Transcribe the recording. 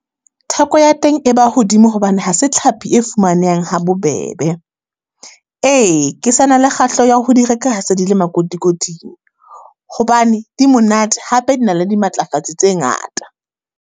Theko ya teng e ba hodimo hobane ha se tlhapi e fumanehang ha bobebe. Ee, ke sa na le kgahleho ya ho di reka ha se di le makotikoting. Hobane di monate hape di na le dimatlafatsi tse ngata.